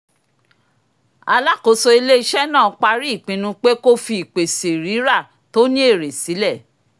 alákóso ilé-iṣẹ́ náà parí ìpinnu pé kó fi ìpèsè rírà tó ní èrè sílẹ̀